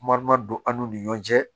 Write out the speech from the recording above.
don an'u ni ɲɔn cɛ